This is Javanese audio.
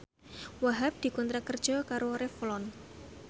Wahhab dikontrak kerja karo Revlon